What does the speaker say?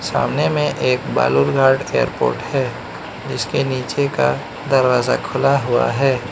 सामने में एक बालूरघाट एयरपोर्ट है जिसके नीचे का दरवाजा खुला हुआ है।